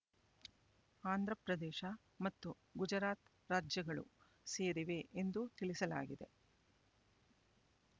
ಆಂಧ್ರ ಪ್ರದೇಶ ಮತ್ತು ಗುಜರಾತ್ ರಾಜ್ಯಗಳು ಸೇರಿವೆ ಎಂದು ತಿಳಿಸಲಾಗಿದೆ